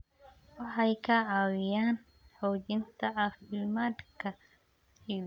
Waxay ka caawiyaan xoojinta caafimaadka ciidda.